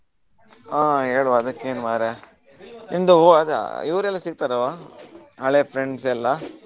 ಹಾ ಹೇಳುವಾ ಅದಕ್ಕೇನು ಮಾರೆ ಇವ್ರೆಲ್ಲಾ ಸಿಕ್ತಾರಾ ಹಳೆ friends ಎಲ್ಲಾ?